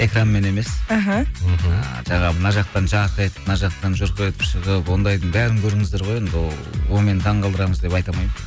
экранмен емес аха мхм жаңағы мына жақтан жарқ мына жақтан жұрқ етіп шығып ондайдың бәрін көрдіңіздер ғой енді ол онымен таң қалдырамыз деп айта алмаймын